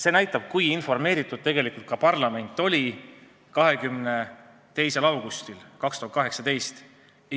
See näitab, kui informeeritud oli parlament 22. augustil 2018.